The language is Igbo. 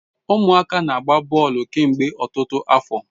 Umuaka na-agba boolu kemgbe otutu afo